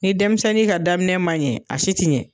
Ni denmisɛnnin ka daminɛ man ɲɛ a si tɛ ɲɛ.